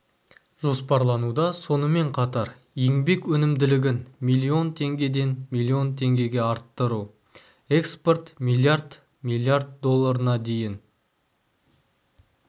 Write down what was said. жоспарлануда сонымен қатар еңбек өнімділігін миллион теңгеден миллион теңгеге арттыру экспорт миллиард миллиарддолларына дейін